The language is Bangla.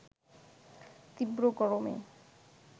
তীব্র গরমে